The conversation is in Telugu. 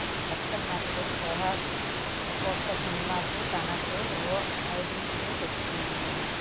కొత్త నటుడు సుహాస్ ఒక్కో సినిమాతో తనకు ఓ ఐడెంటిటి తెచ్చుకుంటున్నాడు